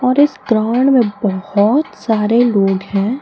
और इस ग्राउंड में बहुत सारे लोग हैं।